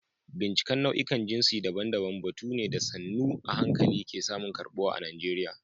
Binciken nau'ikan jinsi daban-daban batu ne da sannu a hankali ke samun karɓuwa a Najeriya.